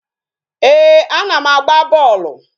Ee, a na m agba bọọlụ